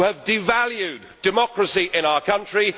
You have devalued democracy in our country